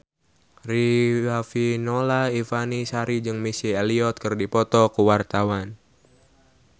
Riafinola Ifani Sari jeung Missy Elliott keur dipoto ku wartawan